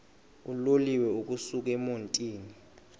uloliwe ukusuk emontini